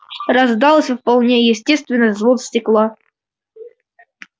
раздался вполне естественный звон стекла